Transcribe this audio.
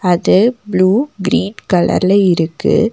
அது blue green கலர்ல இருக்கு.